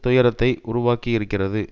துயரத்தை உருவாகியிருக்கின்றது